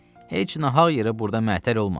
Heç nahaq yerə burda məətər olma.